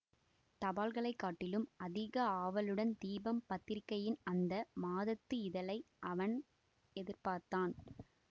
தபால்களைக் காட்டிலும் அதிக ஆவலுடன் தீபம் பத்திரிகையின் அந்த மாதத்து இதழை அவன் எதிர்பார்த்தான்